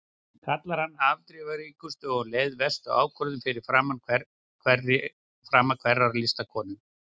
Kallar hana afdrifaríkustu og um leið verstu ákvörðun fyrir frama hverrar listakonu.